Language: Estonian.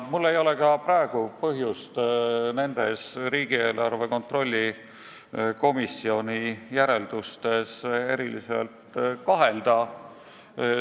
Mul ei ole praegu põhjust nendes riigieelarve kontrolli erikomisjoni järeldustes kahelda.